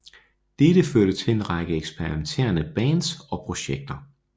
Dette førte til en række eksperimenterende bands og projekter